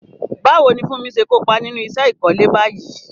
Báwo ni Funmi ṣe kópa nínú iṣẹ́ ìkọ́lé báyìí?